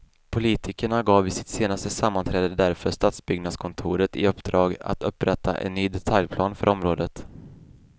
Politikerna gav vid sitt senaste sammanträde därför stadsbyggnadskontoret i uppdrag att upprätta en ny detaljplan för området.